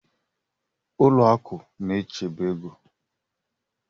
Ụlọ akụ na-echebe ego